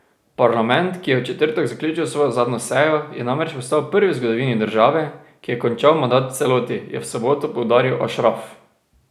Parlament, ki je v četrtek zaključil svojo zadnjo sejo, je namreč postal prvi v zgodovini države, ki je končal mandat v celoti, je v soboto poudaril Ašraf.